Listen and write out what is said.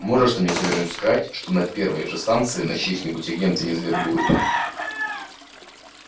можешь ты мне с уверенностью сказать что на первой же станции их чьих-нибудь агенты не завербуют